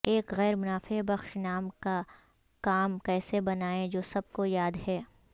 ایک غیر منافع بخش نام کا نام کیسے بنائیں جو سب کو یاد ہے